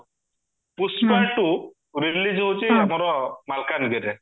Pushpa two release ହଉଚି ଆମର ମାଲକାନଗିରିରେ